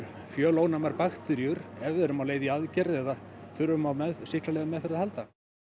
fjölónæmar bakteríur ef við erum á leið í aðgerð eða þurfum á sýklalyfjameðferð að halda